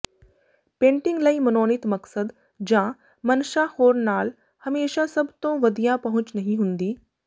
painting ਲਈ ਮਨੋਨੀਤ ਮਕਸਦ ਜਾਂ ਮਨਸ਼ਾ ਹੋਣ ਨਾਲ ਹਮੇਸ਼ਾਂ ਸਭ ਤੋਂ ਵਧੀਆ ਪਹੁੰਚ ਨਹੀਂ ਹੁੰਦੀ